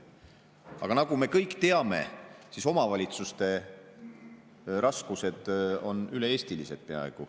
Aga nagu me kõik teame, omavalitsuste raskused on peaaegu üle-eestilised.